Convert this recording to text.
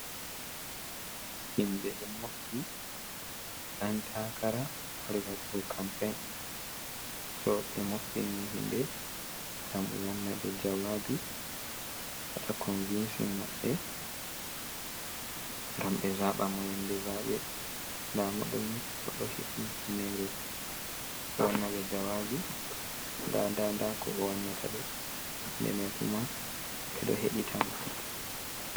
Himɓe ɗo moofti, ɗan taakara wari waɗugo campein, so ɓe moftini mo himɓe ngam wanna ɓe jawaabi wata konvinsin maɓɓe ngam ɓe zaaba mo yannde zaaɓe, nda mo ɗooni o ɗo hifni humnere, o wanna ɓe jawaabi, ndaa ndaa ndaa ko o wannata ɓe, himɓe may kuma ɓe ɗo heɗitamo.